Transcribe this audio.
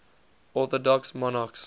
orthodox monarchs